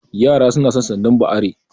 Yara suna san sandar ba are